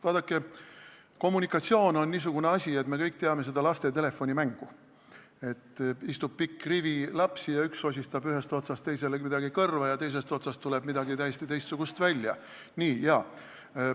Vaadake, kommunikatsioon on samasugune asi nagu see laste telefonimäng, mida me kõik teame: istub pikk rivi lapsi, ühes otsas üks sosistab teisele midagi kõrva ja teises otsas muutub see mingiks täiesti teistsuguseks sõnaks.